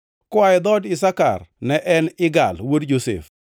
koa e dhood Isakar, ne en Igal wuod Josef;